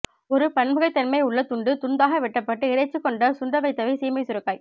ஒரு பன்முகத்தன்மை உள்ள துண்டு துண்தாக வெட்டப்பட்ட இறைச்சி கொண்டு சுண்டவைத்தவை சீமை சுரைக்காய்